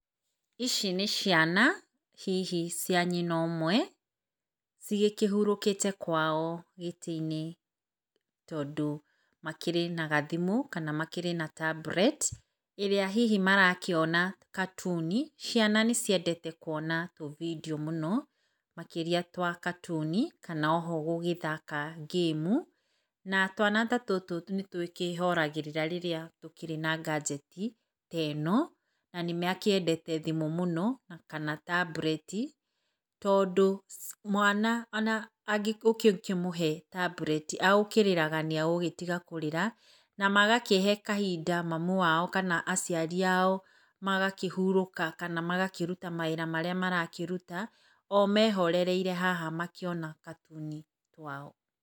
Ici nĩ ciana hihi cia nyina ũmwe cigĩkĩhurũkĩte kwao gĩtĩ-inĩ tondũ makĩrĩ na gathimũ, kana makĩrĩ na tablet, ĩrĩa hihi marakĩona katuni. Ciana nĩ ciendete kwona tũbindiũ mũno, makĩrĩa twa katuni, kana oho gũgĩthaka ngĩmu. Na twana ta tũtũ nĩ tũkĩĩhoragĩrĩra rĩrĩa tũkĩrĩ na nganjeti ta ĩno. Na nĩ makĩendete thimũ mũno kana tablet, tondũ mwana ona ũngĩkĩmũhe tablet, agũkĩrĩraga nĩ agũgĩtiga kũrĩra. Na magakĩhe kahinda mami wao kana aciari ao magakĩhurũka, kana magakĩruta mawĩra marĩa marakĩruta o mehorereire haha makĩona katuni kwao.